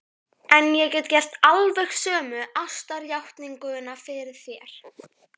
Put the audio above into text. En ég get gert alveg sömu ástarjátninguna fyrir þér.